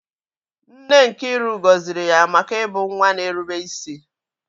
Nne Nkiru gọziri ya maka ịbụ nwa na-erube isi.